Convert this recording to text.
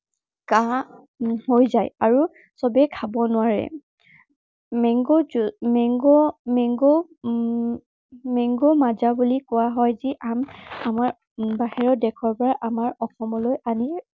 কাঁহ হৈ যায় আৰু সৱেই খাব নোৱাৰে। mango juice, mango mango um mango Maaza বুলি কোৱা হয়। যি আম আমাৰ বাহিৰৰ দেশৰ পৰা আমাৰ অসমলৈ আনি